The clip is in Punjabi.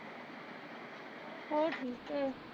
ਹੋਰ ਠੀਕ ਏ